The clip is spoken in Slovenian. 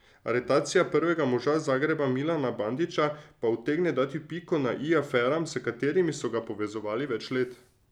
Aretacija prvega moža Zagreba Milana Bandića pa utegne dati piko na i aferam, s katerimi so ga povezovali več let.